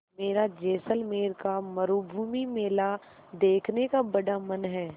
मेरा जैसलमेर का मरूभूमि मेला देखने का बड़ा मन है